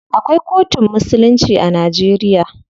Akwai kotun musulunci a Najeriya.